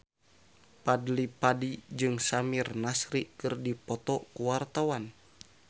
Fadly Padi jeung Samir Nasri keur dipoto ku wartawan